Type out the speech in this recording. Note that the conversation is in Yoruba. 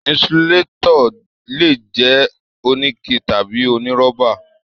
Insulatọ le jẹ onike tàbí onirọ́ba.